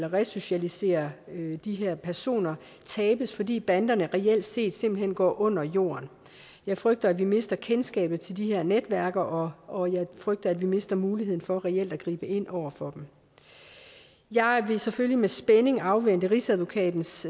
at resocialisere de her personer tabes fordi banderne reelt set simpelt hen går under jorden jeg frygter at vi mister kendskabet til de her netværk og og jeg frygter at vi mister muligheden for reelt at gribe ind over for dem jeg vil selvfølgelig med spænding afvente rigsadvokatens